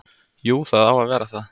Jú, það á að vera það.